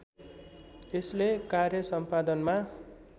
यसले कार्य सम्पादनमा